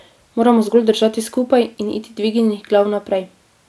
Moramo zgolj držati skupaj in iti dvignjenih glav naprej.